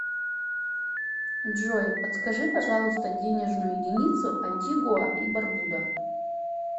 джой подскажи пожалуйста денежную единицу антигуа и барбуда